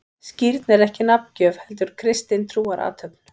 Skírn er ekki nafngjöf, heldur kristin trúarathöfn.